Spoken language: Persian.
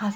زان